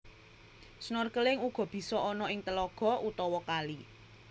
Snorkeling uga bisa ana ing telaga utawa kali